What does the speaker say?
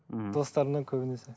ммм достарымнан көбінесе